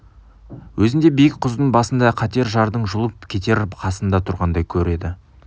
өзін де биік құздың басында қатер жардың жұлып кетер қасында тұрғандай көреді